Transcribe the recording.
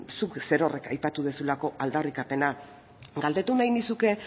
zuk zerorrek aipatu duzulako aldarrikapena galdetu nahi nizuke